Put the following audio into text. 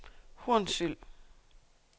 Hornsyld